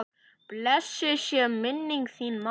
Blessuð sé minning þín mamma.